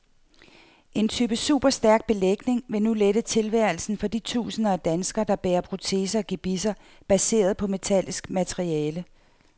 En ny type superstærk belægning vil nu lette tilværelsen for de tusinder af danskere, der bærer proteser og gebisser baseret på metallisk materiale.